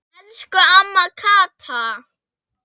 Elsku amma Kata.